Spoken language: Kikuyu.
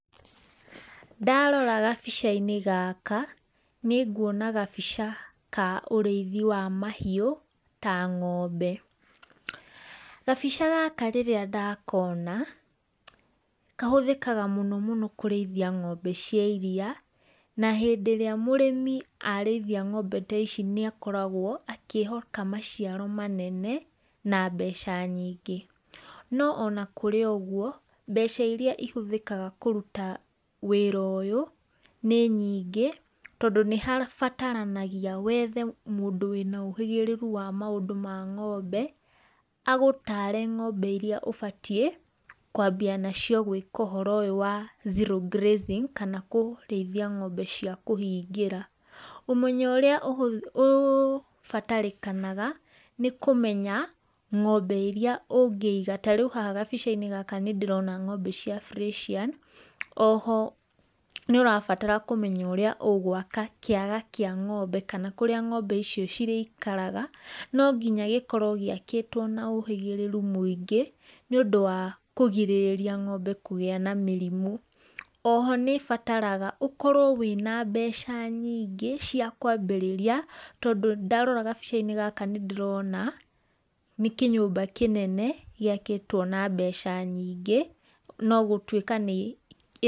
Ndarora gabica-inĩ gaka nĩnguona gabica ka ũrĩithi wa mahiũ. Kabica gaka rĩrĩa ndakona, kahũthĩkaga mũno mũno kũrĩithia ng'ombe cia iriia na hindĩ ĩrĩa mũrĩmi arĩithia ng'ombe ta ici nĩ akoragwo akihoka maciaro manene na mbeca nyingĩ. No ona kũrĩ ũguo, mbeca iria cihũthĩkaga kũruta wĩra ũyũ nĩ nyingĩ tondũ nĩhabataranagia wethe mũndũ wĩna ũhĩgĩriru wa maũndũ ma ng'ombe agũtare ng'ombe iria ũbatiĩ kwambia nacio gwĩka ũhoro ũyũ wa zero grazing kana kũrĩithia ng'ombe cia kũhingĩra. Ũmenyo ũrĩa ũbatarĩkanaga nĩ kũmenya ng'ombe iria ũngĩiga, tarĩu kabica-inĩ gaka nĩndĩrona ng'ombe cia brĩciani, oho nĩ ũrabatara kũmenya ũrĩa ũgwaka kĩga kĩa ng'ombe kana kũrĩa ng'ombe icio cirĩikaraga, no nginya gĩkorwo gĩakĩtwo na ũhĩgĩrĩru mũingĩ nĩ ũndũ wa kũrigĩrĩria ng'ombe kũgĩa na mĩrimũ. Oho nĩ ĩbataraga ũkorwo wĩna mbeca nyingĩ cia kwambĩrĩria tondũ ndarora gabica-inĩ gaka nĩ ndĩrona nĩ kĩnyũmba kĩnene gĩakĩtwo na mbeca nyingĩ no gũtuĩka.